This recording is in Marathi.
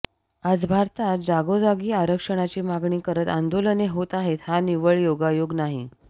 आज भारतात जागोजागी आरक्षणाची मागणी करत आंदोलने होत आहेत हा निव्वळ योगायोग नाही